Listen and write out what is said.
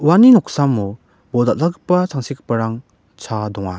uani noksamo bol dal·dalgipa tangsekgiparang chaa donga.